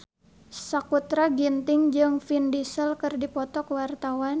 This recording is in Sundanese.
Sakutra Ginting jeung Vin Diesel keur dipoto ku wartawan